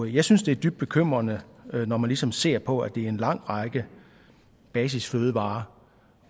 jeg synes det er dybt bekymrende når man ligesom ser på at det er en lang række basisfødevarer